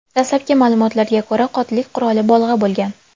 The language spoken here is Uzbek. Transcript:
Dastlabki ma’lumotlarga ko‘ra, qotillik quroli bolg‘a bo‘lgan.